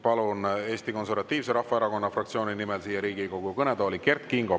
Eesti Konservatiivse Rahvaerakonna fraktsiooni nimel palun siia Riigikogu kõnetooli Kert Kingo.